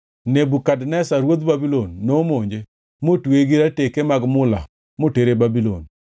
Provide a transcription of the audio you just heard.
Nebukadneza ruodh Babulon nomonje motweye gi rateke mag mula motere Babulon.